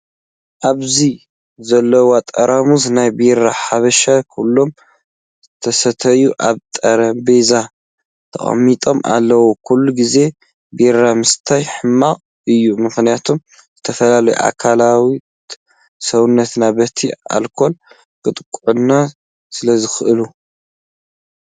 ኣብዚ ዘለው ጠራሙዝ ናይ ቢራ ሓበሻ ኩሎም ዝተሰተዩ ኣብ ጠሬጰዛ ተቀሚጦም ኣለው። ኩሉ ግዜ ቢራ ምስታይ ሕማቅ እዩ። ምክንያቱ ዝተፈላለዩ ኣካላት ሰውነትና ብቲ ኣልኮል ክጥጭቃዕ ስለዝክእል።